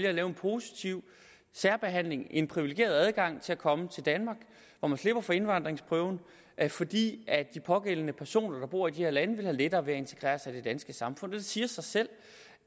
at lave en positiv særbehandling en privilegeret adgang til at komme til danmark hvor man slipper for indvandringsprøven fordi de pågældende personer der bor i de her lande vil have lettere ved at integrere sig i det danske samfund det siger sig selv